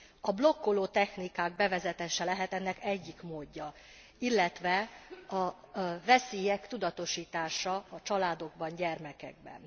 A blokkoló technikák bevezetése lehet ennek egyik módja, illetve a veszélyek tudatosítása a családokban, gyermekekben.